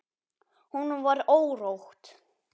Honum var órótt.